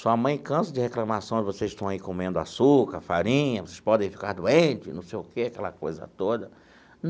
Sua mãe cansa de reclamação, vocês estão aí comendo açúcar, farinha, vocês podem ficar doentes, não sei o quê, aquela coisa toda.